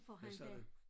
Hvad sagde du?